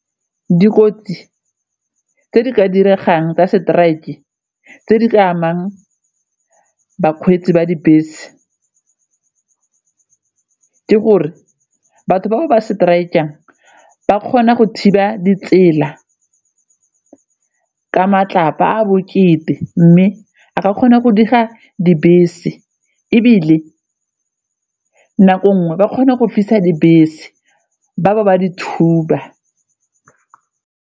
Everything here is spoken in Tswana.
Dikotsi tse di ka diregang tsa strike-e tse di ka amang bakgweetsi ba dibese ke gore batho bao ba strike-ang ba kgona go thiba ditsela ka matlapa a bokete mme kgona go dira dibese ebile nako nngwe ba kgona go fisa dibese ba bo ba di thuba.